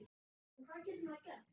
En hvað getur maður gert?